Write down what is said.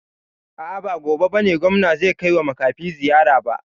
A'a ba gobe bane gwamna zai kaiwa makafi ziyara ba